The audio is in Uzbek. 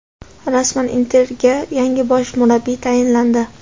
Rasman: "Inter"ga yangi bosh murabbiy tayinlandi.